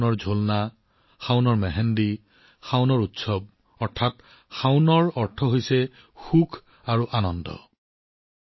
শাওন দোলনা শাওন মেহান্দি শাওন উৎসৱতাৰ অৰ্থ শাওন নিজেই আনন্দ আৰু উল্লাসৰ মাহ